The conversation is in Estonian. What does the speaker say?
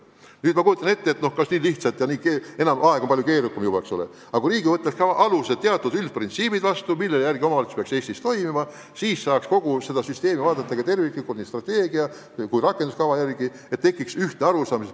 Nüüd ma kujutan ette, et nii lihtsalt see enam ei käi – aeg on palju keerukam, eks ole –, aga kui Riigikogu võtaks vastu teatud üldprintsiibid, millest lähtudes omavalitsus peaks Eestis toimima, siis saaks kogu süsteemi vaadata terviklikult nii strateegia kui rakenduskava seisukohalt ja tekiks ühtne arusaam.